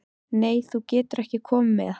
Nei, þú getur ekki komið með.